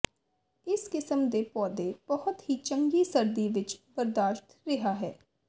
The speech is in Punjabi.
ਇਸ ਕਿਸਮ ਦੇ ਪੌਦੇ ਬਹੁਤ ਹੀ ਚੰਗੀ ਸਰਦੀ ਵਿੱਚ ਬਰਦਾਸ਼ਤ ਰਿਹਾ ਹੈ